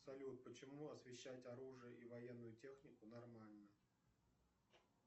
салют почему освещать оружие и военную технику нормально